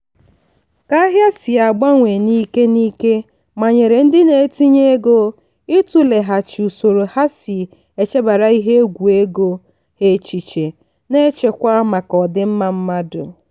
ka ahịa si agbanwe n'ike n'ike manyere ndị na-etinye ego ịtụleghachi usoro ha si echebara ihe egwu ego ha echiche na-echekwa maka ọdịmma mmadụ.